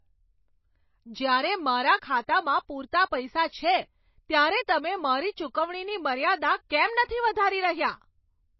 જ્યારે મારા ખાતામાં પૂરતા પૈસા છે ત્યારે તમે મારી ચૂકવણીની મર્યાદા કેમ નથી વધારી રહ્યા?